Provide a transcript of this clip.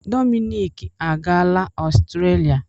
Dominic agaala Ọstrelia.